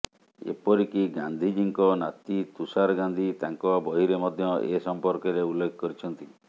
ଏପରିକି ଗାନ୍ଧିଜୀଙ୍କ ନାତି ତୁଷାର ଗାନ୍ଧି ତାଙ୍କ ବହିରେ ମଧ୍ୟ ଏ ସମ୍ପର୍କରେ ଉଲ୍ଲେଖ କରିଛନ୍ତି